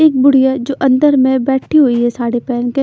एक बुढ़िया जो अंदर में बैठी हुई है साड़ी पहन के --